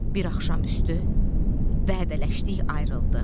Bir axşam üstü vədələşdik, ayrıldıq.